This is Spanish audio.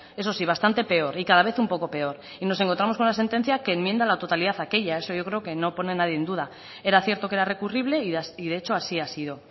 eso sí bastante peor y cada vez un poco peor y nos encontramos con una sentencia que enmienda la totalidad aquella eso yo creo que eso no pone nadie en duda era cierto que era recurrible y de hecho así ha sido